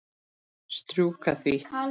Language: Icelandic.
Strjúka því.